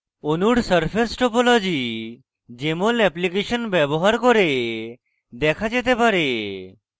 অণুর surface topology jmol application ব্যবহার করে দেখা যেতে পারে